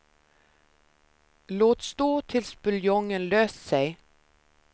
Låt stå tills buljongen löst sig.